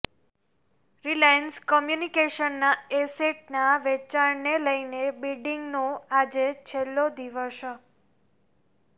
Reliance કમ્યુનિકેશન્સના એસેટના વેચાણને લઈને બિડિંગનો આજે છેલ્લો દિવસ